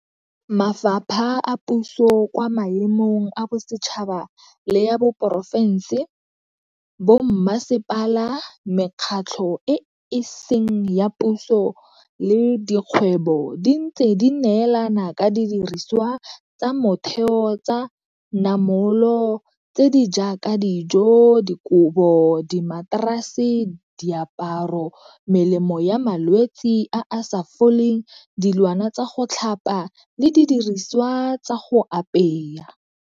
Mafapha a puso kwa maemong a bosetšhaba le a porofense, bommasepala, mekgatlho e e seng ya puso le dikgwebo di ntse di neelana ka didiriswa tsa motheo tsa namolo tse di jaaka dijo, dikobo, dimaterase, diaparo, melemo ya malwetsi a a sa foleng, dilwana tsa go tlhapa le didiriswa tsa go apaya.